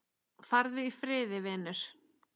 Farðu í friði vinur.